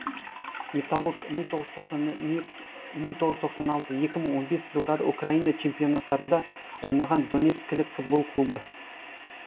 металлург мың тоғыз жүз тоқсан аслты екі мың он бесінші жылдары украина чемпионаттарында ойнаған донецкілік футбол клубы